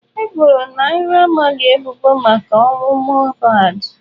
E boro Naira Marley ebubo maka ọnwụ Mohbad.